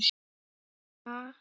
Ha?!